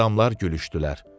Adamlar gülüşdülər.